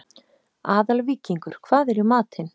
Aðalvíkingur, hvað er í matinn?